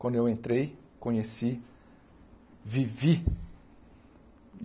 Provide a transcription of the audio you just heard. Quando eu entrei, conheci, vivi.